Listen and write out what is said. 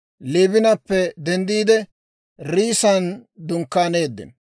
Liibinappe denddiide, Riissan dunkkaaneeddino.